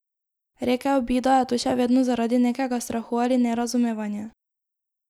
Rekel bi, da je to še vedno zaradi nekega strahu ali nerazumevanja.